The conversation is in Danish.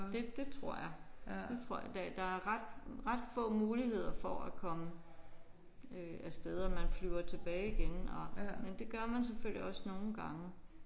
Det det tror jeg det tror jeg. Der er ret ret få muligheder for at komme øh af sted og man flyver tilbage igen og men det gør man selvfølgelig også nogle gange